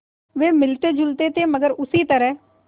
वे मिलतेजुलते थे मगर उसी तरह